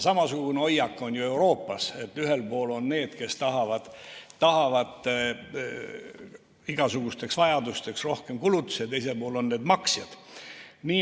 Samasugune hoiak on ju ka Euroopas, et ühel pool on need, kes tahavad igasugusteks vajadusteks rohkem kulutusi, ja teisel pool on need maksjad.